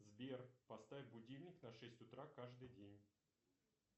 сбер поставь будильник на шесть утра каждый день